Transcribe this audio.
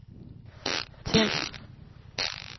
tænd